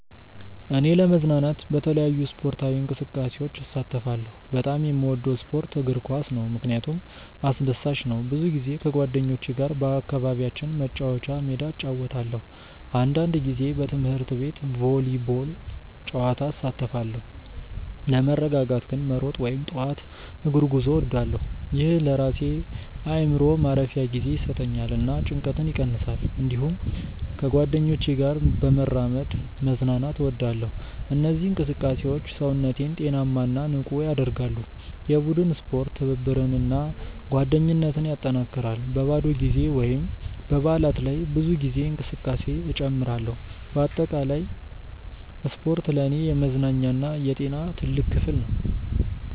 እኔ ለመዝናናት በተለያዩ ስፖርታዊ እንቅስቃሴዎች እሳተፋለሁ። በጣም የምወደው ስፖርት እግር ኳስ ነው፣ ምክንያቱም አስደሳች ነው። ብዙ ጊዜ ከጓደኞቼ ጋር በአካባቢያችን መጫወቻ ሜዳ እጫወታለሁ። አንዳንድ ጊዜ በትምህርት ቤት ቮሊቦል ጨዋታ እሳተፋለሁ። ለመረጋጋት ግን መሮጥ ወይም ጠዋት እግር ጉዞ እወዳለሁ። ይህ ለራሴ አእምሮ ማረፊያ ጊዜ ይሰጠኛል እና ጭንቀትን ይቀንሳል። እንዲሁም ከጓደኞቼ ጋር በመራመድ መዝናናት እወዳለሁ። እነዚህ እንቅስቃሴዎች ሰውነቴን ጤናማ እና ንቁ ያደርጋሉ። የቡድን ስፖርት ትብብርን እና ጓደኝነትን ያጠናክራል። በባዶ ጊዜ ወይም በበዓላት ላይ ብዙ ጊዜ እንቅስቃሴ እጨምራለሁ። በአጠቃላይ ስፖርት ለእኔ የመዝናኛ እና የጤና ትልቅ ክፍል ነው።